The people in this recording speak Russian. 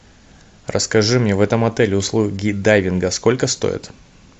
расскажи мне в этом отеле услуги дайвинга сколько стоят